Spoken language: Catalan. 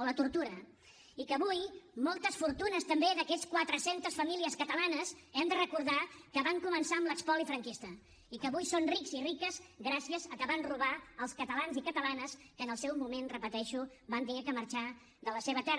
o la tortura i que avui moltes fortunes també d’aquestes quatre centes famílies catalanes hem de recordar que van començar amb l’espoli franquista i que avui són rics i riques gràcies a que van robar els catalans i catalanes que en el seu moment ho repeteixo van haver de marxar de la seva terra